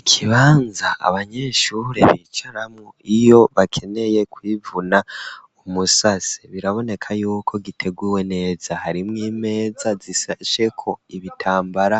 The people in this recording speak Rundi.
Ikibanza abanyeshure bicaramwo iyo bakeneye kwivuna umusase, biraboneka yuko giteguwe neza harimwe imeza zishasheko ibitambara